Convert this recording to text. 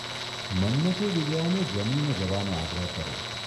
મન્મથે વિજ્યાને જમીને જવાનો આગ્રહ કર્યો.